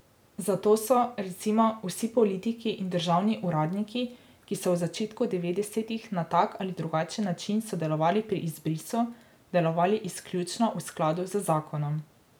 Zato so, recimo, vsi politiki in državni uradniki, ki so v začetku devetdesetih na tak ali drugačen način sodelovali pri izbrisu, delovali izključno v skladu z zakonom.